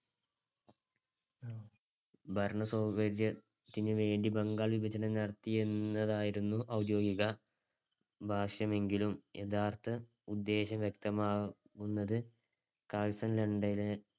ഭരണസൗകര്യത്തിനു വേണ്ടി ബംഗാൾ വിഭജനം നടത്തിയെന്നതായിരുന്നു ഔദ്യോഗിക ഭാഷ്യമെങ്കിലും യഥാർത്ഥ ഉദ്ദേശം വ്യക്തമാവുന്നത് കഴ്സൺ രണ്ടിനെ